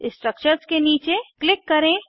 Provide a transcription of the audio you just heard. structures के नीचे click करें